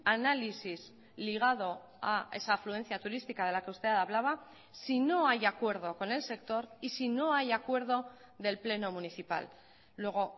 análisis ligado a esa afluencia turística de la que usted hablaba si no hay acuerdo con el sector y si no hay acuerdo del pleno municipal luego